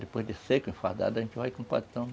Depois de seco, enfardado, a gente vai com o patrão.